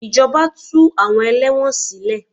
Ìjọba tú àwọn ẹlẹ́wọ̀n sílè.